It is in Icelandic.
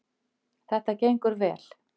Þetta gengur vel